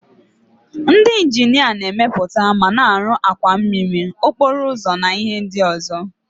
Ndị injinia na-emepụta ma na-arụ àkwà mmiri, okporo ụzọ na ihe ndị ọzọ.